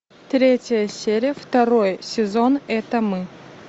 третья серия второй сезон это мы